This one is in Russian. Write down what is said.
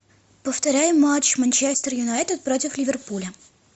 повторяй матч манчестер юнайтед против ливерпуля